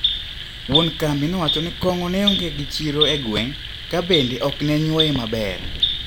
Wuon kambi nowacho ni kong`o neonge gi chiro e gweng` kabende oknenyuoye maber.